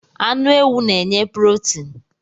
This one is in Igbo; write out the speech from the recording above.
Anu ewu n'nye purotin